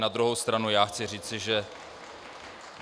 Na druhou stranu já chci říci, že...